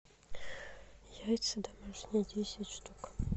яйца домашние десять штук